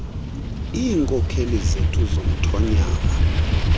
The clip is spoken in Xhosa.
iinkokheli zethu zomthonyama